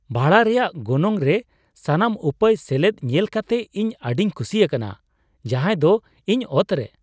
ᱵᱷᱟᱲᱟ ᱨᱮᱭᱟᱜ ᱜᱚᱱᱚᱝ ᱨᱮ ᱥᱟᱱᱟᱢ ᱩᱯᱟᱹᱭ ᱥᱮᱞᱮᱫ ᱧᱮᱞ ᱠᱟᱛᱮ ᱤᱧ ᱟᱹᱰᱤᱧ ᱠᱩᱥᱤ ᱟᱠᱟᱱᱟ ᱾ ᱡᱟᱦᱟᱭ ᱫᱚ ᱤᱧ ᱚᱛᱨᱮ !